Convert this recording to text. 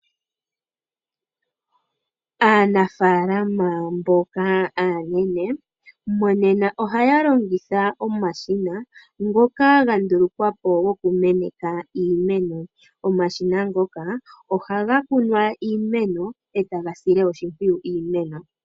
Aanafalama mboka aanene monena ohaya longitha omashina ngoka ga ndulukwa po gokumeneka iimeno. Omashina ngoka ohaga kunwa iimeno etaga sile oshimpwiyu iimeno.